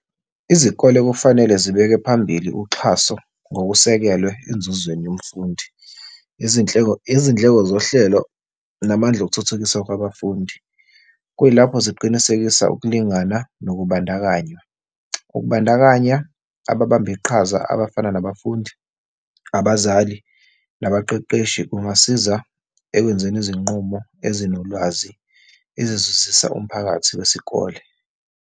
Izikole kufanele zibeke phambili uxhaso ngokusekelwe enzuzweni yomfundi, izindleko zohlelo namandla okuthuthukisa kwabafundi. Kuyilapho ziqinisekisa ukulingana nokubandakanya. Ukubandakanya ababamba iqhaza abafana nabafundi, abazali nabaqeqeshi kungasiza ekwenzeni izinqumo ezinolwazi ezizuzisa umphakathi wesikole.